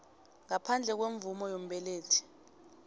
ngaphandle kwemvumo yombelethi